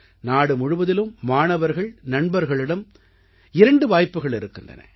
நாடு முழுவதிலும் மாணவர்கள்நண்பர்களிடம் இரண்டு வாய்ப்புகள் இருக்கின்றன